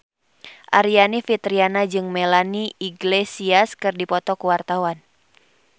Aryani Fitriana jeung Melanie Iglesias keur dipoto ku wartawan